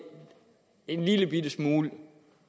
en lillebitte smule